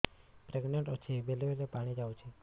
pregnant ଅଛି ବେଳେ ବେଳେ ପାଣି ଯାଉଛି